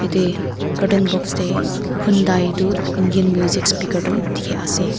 ete carton box te hyndai etu indian music speaker tu dikhi ase.